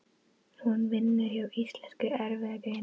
Hún vinnur hjá Íslenskri erfðagreiningu.